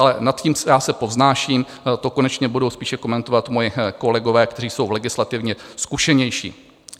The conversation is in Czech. Ale nad to já se povznáším, to konečně budou spíše komentovat moji kolegové, kteří jsou legislativně zkušenější.